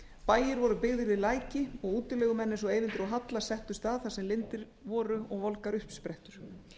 bæir voru byggðir við læki og útilegumenn eins og eyvindur og halla settust að þar sem lindir voru og volgar uppsprettur